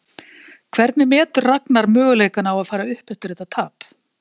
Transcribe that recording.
Hvernig metur Ragnar möguleikana á að fara upp eftir þetta tap?